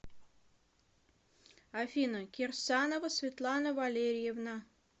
афина кирсанова светлана валерьевна